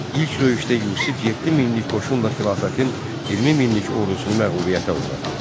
İlk döyüşdə Yusif 7 minlik qoşunla xilafətin 20 minlik ordusunu məğlubiyyətə uğratdı.